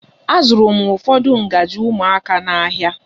Azụrụ m ụfọdụ ngaji ụmụaka n'ahia.